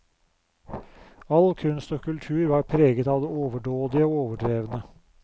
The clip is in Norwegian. All kunst og kultur var preget av det overdådige og overdrevne.